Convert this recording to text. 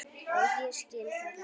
Og ég skil það enn.